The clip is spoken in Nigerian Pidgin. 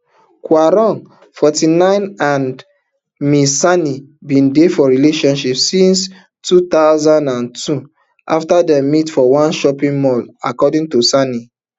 quarong forty-nine and ms sani bin dey for relationship since two thousand and twenty afta dem meet for one shopping mall according to sani